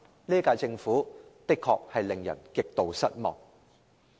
這屆政府的確令人感到極度失望。